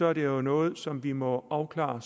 er det jo noget som vi må afklare